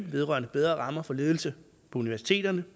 vedrørende bedre rammer for ledelse på universiteterne